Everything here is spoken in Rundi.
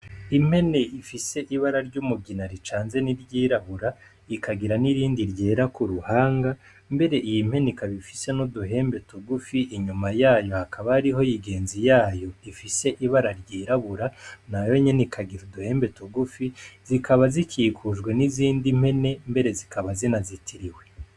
Impene ifise ibara ry'umugina ricanze n'iryirabura, ikagira n'irindi ryera ku ruhanga, mbere iyi mpene ikaba ifise n'uduhembe tugufi, inyuma yayo hakaba hariho igenzi yayo ifise ibara ryirabura nayo nyene ikagira uduhembe tugufi, zikaba zikikujwe n'izindi mpene mbere zikaba zinazitiriwe.